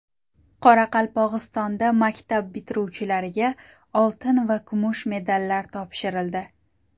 Qoraqalpog‘istonda maktab bitiruvchilariga oltin va kumush medallar topshirildi.